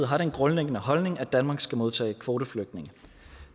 har den grundlæggende holdning at danmark skal modtage kvoteflygtninge